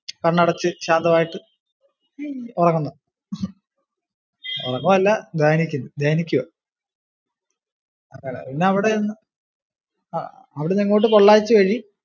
കണ്ണടച്ച് ശാന്തവായിട്ടു ഉറങ്ങുന്നു. ഉറങ്ങുവല്ല ധ്യാനിക്കുവാ. അങ്ങനെ പിന്നെ അവിടെ ആഹ് അവിടുന്നങ്ങോട്ട് പൊള്ളാച്ചി വഴി